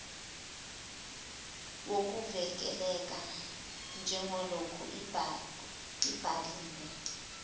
wokuvikeleka njengaloku ibhaliwe